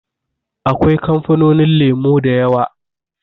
Akwai kamfanonin lemo da yawa.